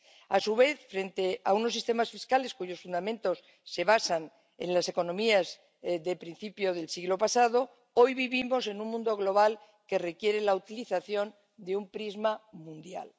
A su vez, frente a unos sistemas fiscales cuyos fundamentos se basan en las economías de principio del siglo pasado, hoy vivimos en un mundo global que requiere la utilización de un prisma mundial.